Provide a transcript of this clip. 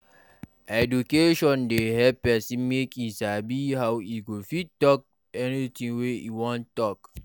Education dey help pesin make e sabi how e go fit talk anything wey e wan talk